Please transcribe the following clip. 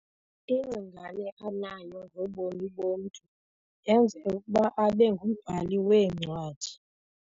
Ingcingane anayo ngobomi bomntu yenze ukuba abe ngumbhali weencwadi.